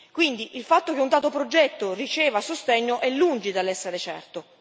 Quindi il fatto che un dato progetto riceva sostegno è lungi dall'essere certo.